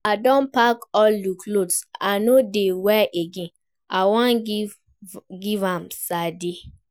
I don pack all the clothes I no dey wear again, I wan give am Sade